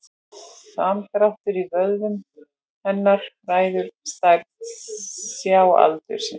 Samdráttur í vöðvum hennar ræður stærð sjáaldursins.